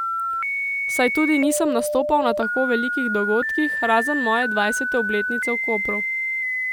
Saj tudi nisem nastopal na tako velikih dogodkih, razen moje dvajsete obletnice v Kopru.